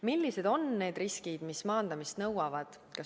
Millised on need riskid, mis maandamist nõuavad?